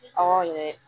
Aw ye